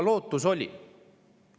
Lootus oli.